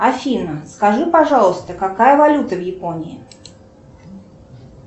афина скажи пожалуйста какая валюта в японии